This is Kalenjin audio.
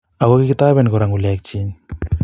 ako kikitoben kora ngu lekchin